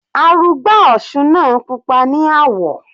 Arugbá òsun náà pupa ní àwọ̀.